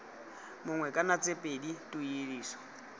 mongwe kana tse pedi tuediso